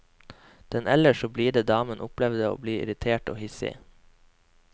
Den ellers så blide damen opplevde å bli irritert og hissig.